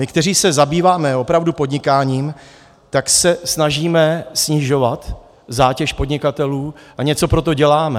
My, kteří se zabýváme opravdu podnikáním, tak se snažíme snižovat zátěž podnikatelů a něco pro to děláme.